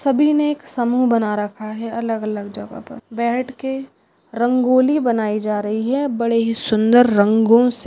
सभी ने एक समूह रखा है अलग अलग जगह पर बैठ के रंगोली बनाई जा रही है बड़े ही सुन्दर रंगो से--